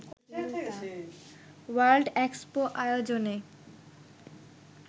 world expo আয়োজনে